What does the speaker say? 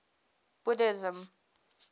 buddhism